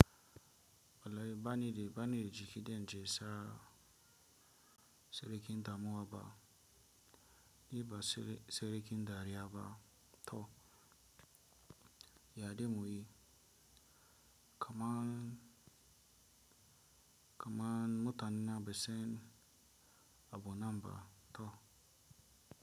Wallahi banida, banida jiki denje sara serekin damuwa ba, ni ba serekin dariya ba to yade muyi kaman, kaman mutanena ba san abu nan ba toh.